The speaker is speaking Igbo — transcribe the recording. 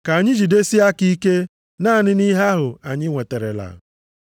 Ka anyị jidesienụ aka ike naanị nʼihe ahụ anyị nweterela.